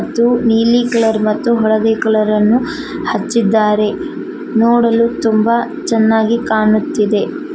ಅದು ನೀಲಿ ಕಲರ್ ಮತ್ತು ಹಳದಿ ಕಲರ್ ಅನ್ನು ಹಚ್ಚಿದ್ದಾರೆ ನೋಡಲು ತುಂಬಾ ಚೆನ್ನಾಗಿ ಕಾಣುತ್ತಿದೆ.